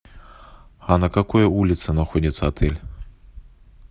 а на какой улице находится отель